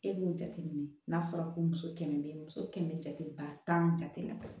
E b'o jateminɛ n'a fɔra ko muso kɛmɛ bɛ muso kɛmɛ jate ba tan jate la